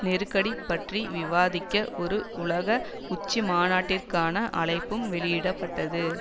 நெருக்கடி பற்றி விவாதிக்க ஒரு உலக உச்சிமாநாட்டிற்கான அழைப்பும் வெளியிட பட்டது